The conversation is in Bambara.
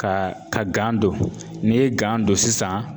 Ka ka gan don n'i ye gan don sisan